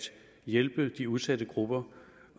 hjælpe de udsatte grupper